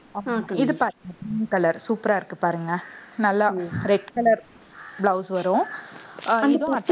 இது பாருங்க green color super ஆ இருக்கு பாருங்க. நல்லா red color blouse வரும்.